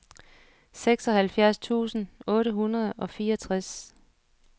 seksoghalvfjerds tusind otte hundrede og fireogtres